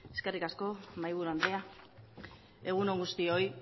eskerrik asko mahaiburu andrea egun on guztioi